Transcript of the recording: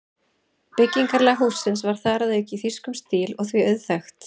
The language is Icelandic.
Byggingarlag hússins var þar að auki í þýskum stíl og því auðþekkt.